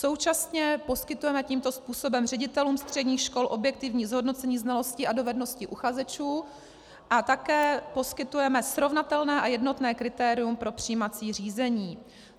Současně poskytujeme tímto způsobem ředitelům středních škol objektivní zhodnocení znalostí a dovedností uchazečů a také poskytujeme srovnatelné a jednotné kritérium při přijímací řízení.